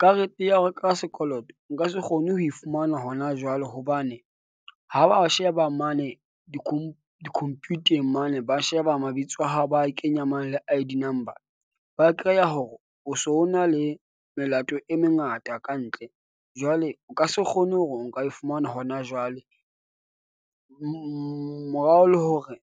Karete ya ho ka sekoloto nka se kgone ho e fumana hona jwale. Hobane ha ba sheba mane di-computheng mane, ba sheba mabitso a hao, ba kenya mane le I_D number. Ba hore o so na le melato e mengata kantle jwale o ka se kgone hore o nka e fumana hona jwale morao, le hore